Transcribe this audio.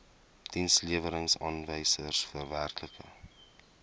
dienslewerings aanwysers werklike